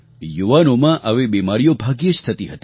યુવાનોમાં આવી બીમારીઓ ભાગ્યે જ થતી હતી